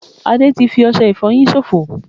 Ade ti fi ọsẹ ìfoyin sofo